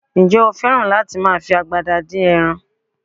Ǹjẹ́ o fẹ́ràn láti máa fi agbada dín ẹran?